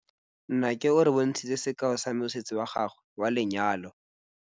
Nnake o re bontshitse sekaô sa mosese wa gagwe wa lenyalo.